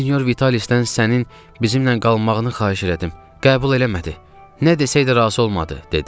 Sinyor Vitalisdən sənin bizimlə qalmağını xahiş elədim, qəbul eləmədi, nə desəydə razı olmadı, dedi.